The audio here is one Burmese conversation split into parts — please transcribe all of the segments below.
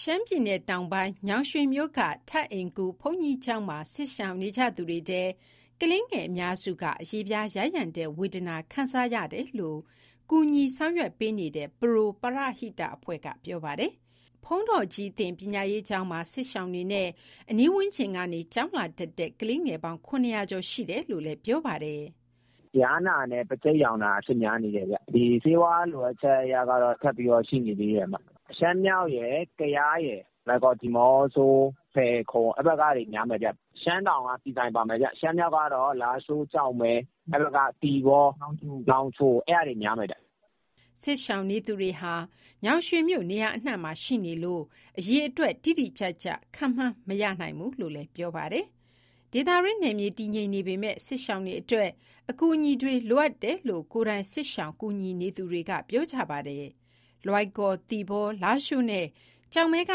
ရှမ်းပြည်နယ်တောင်ပိုင်း၊ ညောင်ရွှေမြို့က ထပ်အိမ်ဂူဘုန်းကြီးကျောင်းမှာ စစ်ရှောင်နေကြသူတွေထဲ ကလေးငယ်အများစုဟာ အရေပြားယားယံတဲ့ ဝေဒနာကို ခံစားနေရတယ်လို့ ကူညီဆောင်ရွက်ပေးနေတဲ့ Pro ပရဟိတအဖွဲ့က ပြောပါတယ်။ ဘုန်းတော်ကြီးသင် ပညာရေးကျောင်းမှာ စစ်ရှောင်တွေနဲ့ အနီးဝန်းကျင်ကနေ ကျောင်းလာတက်တဲ့ ကလေးငယ်ပေါင်း ၇၀၀ ကျော်ရှိနေတယ်လို့လည်း ပြောပါတယ်။ "ယားနာနဲ့ ပါးချိတ်ရောင်တာ အဖြစ်များနေတယ်ဗျ။ ဆေးဝါးလိုအပ်ချက်ကတော့ ဆက်ပြီးတော့ ရှိနေသေးတယ်။ စစ်ရှောင်နေသူတွေက ရှမ်းမြောက်၊ ကယား၊ လွိုင်ကော်၊ ဒီးမော့ဆို၊ ဖယ်ခုံ အဲဒီဘက်ကတွေ များတယ်ဗျ။ ရှမ်းတောင်က ဆီဆိုင်ပါမယ်ဗျ။ ရှမ်းမြောက်ကတော့ လားရှိုး၊ ကျောက်မဲ၊ သီပေါ၊ နောင်ချို အဲဒီကနေ များတယ်ဗျ။" စစ်ရှောင်နေသူတွေဟာ ညောင်ရွှေမြို့ နေရာအနှံ့မှာရှိနေလို့ အရေအတွက် တိတိကျကျ ခန့်မှန်းမရနိုင်ဘူးလို့ ပြောပါတယ်။ ဒေသတွင်းနယ်မြေ တည်ငြိမ်နေပေမယ့် စစ်ရှောင်တွေအတွက် အကူအညီတွေက လိုအပ်နေတယ်လို့ ကိုယ်တိုင် စစ်ရှောင်ရင်း ကူညီနေသူတွေက ပြောပါတယ်။ လွိုင်ကော်၊ သီပေါ၊ လားရှိုးနဲ့ ကျောက်မဲက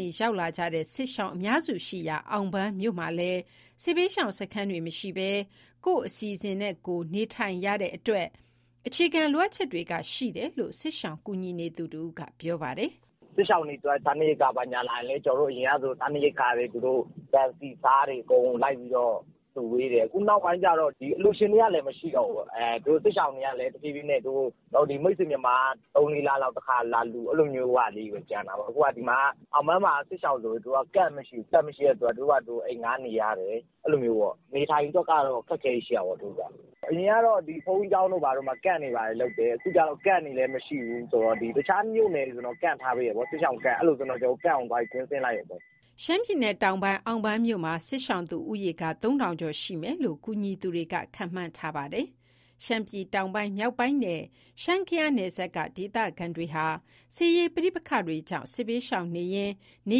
နေ ရောက်လာကြတဲ့ စစ်ရှောင်အများစုရှိရာ အောင်ပန်းမြို့မှာလည်း စစ်ဘေးရှောင်စခန်းတွေ မရှိဘဲ ကိုယ့်အစီအစဉ်နဲ့ကိုယ်သာ နေထိုင်တဲ့အတွက်ကြောင့် အခြေခံလိုအပ်ချက်တွေက ရှိနေတယ်လို့ စစ်ရှောင်ကူနေသူတဦးက ပြောပါတယ်။ "စစ်ရှောင်တွေအတွက် စားနပ်ရိက္ခာလာရင် အရင်ကဆို ဆန်၊ ဆီ၊ ဆားတွေအကုန်လုံး လိုက်ပြီးတော့ဝေတယ်။ အခုနောက်ပိုင်းကျတော့ အလှူရှင်တွေကလည်း မရှိတော့ဘူး။ စစ်ရှောင်တွေကလည်း တဖြည်းဖြည်းနဲ့ မိတ်ဆွေမြန်မာက ၃ - ၄ လမှာ တခါလာလှူတယ်။ အဲလိုမျိုးလေးတွေပဲ ကျန်တာပေါ့။ အောင်ပန်းမှာက စစ်ရှောင်ဆို Camp မရှိတဲ့အတွက် သူတို့ဘာသူတို့ အိမ်ငှားနေရတယ်။ နေထိုင်ရေးအတွက်ကတော့ အခက်အခဲတွေ ရှိတာပေါ့။ အရင်ကတော့ ဘုန်းကြီးကျောင်းတို့ ဘာတို့မှာ Camp တွေဘာတွေလုပ်တယ်။ အခုကျတော့ Camp တွေလည်း မရှိဘူး။ တခြားမြို့နယ်ဆိုရင်တော့ Camp ထားပေးတယ်ပေါ့။ အဲလိုဆိုရင် ကျနော်တို့က Camp ကိုသွားပြီး ကွင်းဆင်းလိုက်ရုံပဲ။" ရှမ်းပြည်နယ်တောင်ပိုင်း၊ အောင်ပန်းမြို့မှာ စစ်ရှောင်သူဦးရေက ၃,၀၀၀ ကျော်ရှိမယ်လို့ ကူညီသူတွေက ခန့်မှန်းထားပါတယ်။ ရှမ်းပြည်တောင်ပိုင်း၊ မြောက်ပိုင်းနဲ့ ရှမ်း-ကယားနယ်စပ်က ဒေသခံတွေဟာ စစ်ရေးပဋိပက္ခတွေကြောင့် စစ်ဘေးရှောင်နေရင်း နေ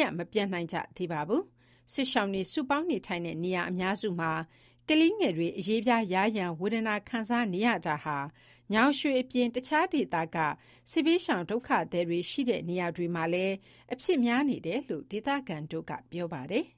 ရပ်မပြန်နိုင်ကြသေးပါဘူး။ စစ်ရှောင်တွေစုပေါင်းနေထိုင်တဲ့ နေရာအများစုမှာ ကလေးငယ်တွေ အရေပြားယားယံ ဝေဒနာခံစားနေရတာဟာ ညောင်ရွှေအပြင် တခြားဒေသက စစ်ဘေးရှောင် ဒုက္ခသည်တွေ ရှိတဲ့ နေရာတွေမှာလည်း အဖြစ်များနေတယ်လို့ ဒေသခံတွေက ပြောပါတယ်။